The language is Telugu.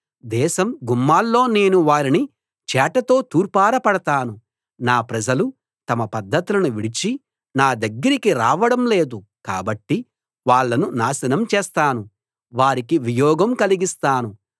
దేశం గుమ్మాల్లో నేను వారిని చేటతో తూర్పారపడతాను నా ప్రజలు తమ పద్ధతులను విడిచి నా దగ్గరికి రావడం లేదు కాబట్టి వాళ్ళను నాశనం చేస్తాను వారికి వియోగం కలిగిస్తాను